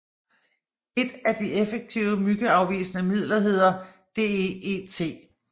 Et af de effektive myggeafvisende midler hedder DEET